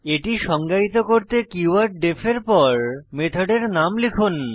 এটি সংজ্ঞায়িত করতে কীওয়ার্ড ডিইএফ এর পর মেথডের নাম লিখুন